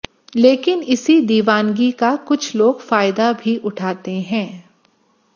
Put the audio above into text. लेकिन इसी दीवानगी का कुछ लोग फायदा भी उठाते हैं